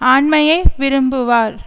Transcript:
ஆண்மையை விரும்புவார்